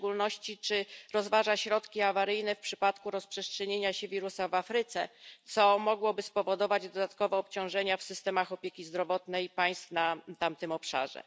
W szczególności, czy rozważa środki awaryjne w przypadku rozprzestrzenienia się wirusa w Afryce, co mogłoby spowodować dodatkowe obciążenia w systemach opieki zdrowotnej państw na tamtym obszarze?